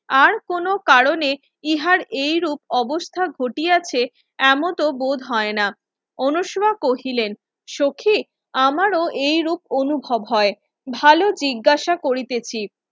আর কোন কারণে ইহার এই রূপ অবস্থা ঘটিয়াছে এমত বোধ হয়না অনুসরা কহিলেন সখি আমার এই রূপ অনুভব হয় ভালো জিজ্ঞাসা করিতেছি